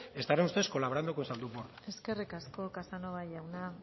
estarán ustedes colaborando con zaldunborda eskerrik asko casanova jauna